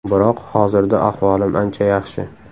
Biroq hozirda ahvolim ancha yaxshi.